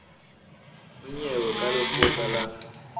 ho nyewe ya lekgotla la